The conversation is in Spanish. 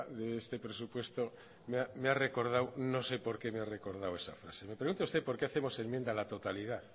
de este presupuesto me ha recordado no sé por qué me ha recordado esa frase pregunta usted por qué hacemos enmienda a la totalidad